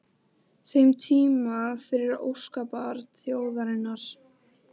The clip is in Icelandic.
þeim tíma fyrir óskabarn þjóðarinnar?